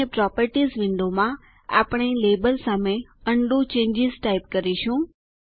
અને પ્રોપર્ટીઝ વિન્ડોમાં આપણે લાબેલ વિરુદ્ધ ઉંડો ચેન્જીસ ટાઈપ કરીશું